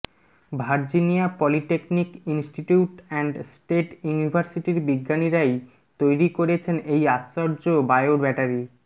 Virginia polytechnic institute and state ইউনিভার্সিটির বিজ্ঞানীরাই তৈরি করেছেন এই আশ্চর্য বায়ো ব্যাটারি